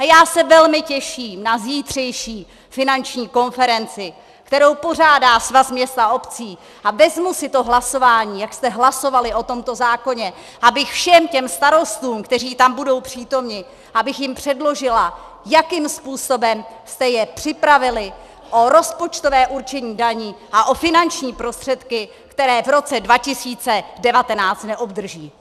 A já se velmi těším na zítřejší finanční konferenci, kterou pořádá Svaz měst a obcí, a vezmu si to hlasování, jak jste hlasovali o tomto zákoně, abych všem těm starostům, kteří tam budou přítomni, abych jim předložila, jakým způsobem jste je připravili o rozpočtové určení daní a o finanční prostředky, které v roce 2019 neobdrží.